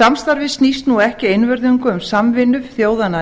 samstarfið snýst nú ekki einvörðungu um samvinnu þjóðanna